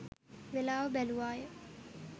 වේලාව බැලූවාය.